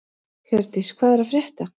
Hjördís, hvað er að frétta?